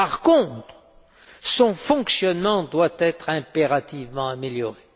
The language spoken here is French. Par contre, son fonctionnement doit être impérativement amélioré.